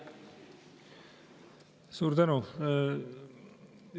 Suur tänu!